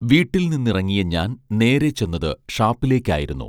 വീട്ടിൽനിന്നിറങ്ങിയ ഞാൻ നേരെ ചെന്നത് ഷാപ്പിലേക്കായിരുന്നു